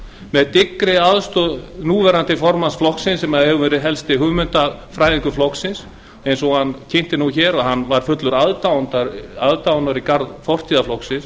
með dyggri aðstoð núverandi formanns flokksins sem hefur verið helsti hugmyndafræðingur hans en hann kynnti hér að hann væri fullur aðdáunar í garð fortíðar flokksins